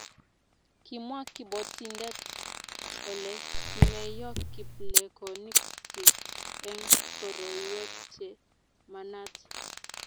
kimwa kabotindet kole kimeyo kiplekonik chich eng' koroiwek che manaat